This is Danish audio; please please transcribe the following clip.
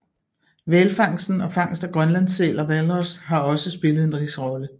Hvalfangsten og fangst af grønlandssæl og hvalros har også spillet en vis rolle